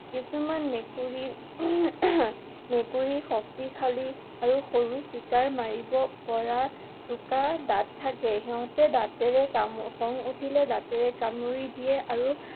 কিছুমান মেকুৰী, মেকুৰী শক্তিশালী আৰু সৰু চিকাৰ মাৰিব পৰা চোকা দাঁত থাকে। সিহতে দাঁতেৰে কামোৰে, খং উঠিলে দাঁতেৰে কামুৰি দিয়ে আৰু